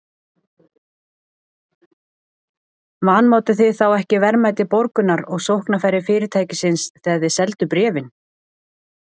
Þorbjörn: Vanmátuð þið þá ekki verðmæti Borgunar og sóknarfæri fyrirtækisins þegar þið selduð bréfin?